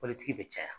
Mɔbilitigi bɛ caya